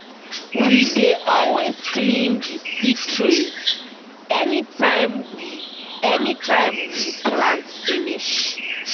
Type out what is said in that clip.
we dey always clean the seed trays anytime we anytime we plant finish.